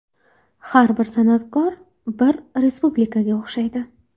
Har bir san’atkor bir respublikaga o‘xshaydi.